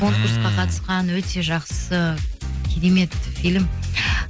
конкурсқа қатысқан өте жақсы керемет фильм